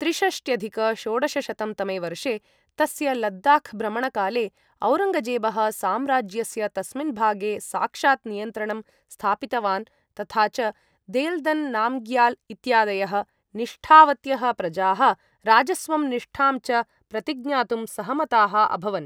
त्रिषष्ट्यधिक षोडशशतं तमे वर्षे, तस्य लद्दाख् भ्रमणकाले, औरङ्गजेबः साम्राज्यस्य तस्मिन् भागे साक्षात् नियन्त्रणं स्थापितवान् तथा च देल्दन् नाम्ग्याल् इत्यादयः निष्ठावत्यः प्रजाः राजस्वं निष्ठां च प्रतिज्ञातुं सहमताः अभवन्।